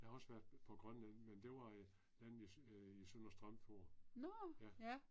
Jeg har også været på Grønland men det var øh landede jeg øh i Søndre Strømfjord. Ja